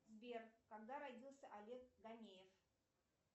сбер когда родился олег ганеев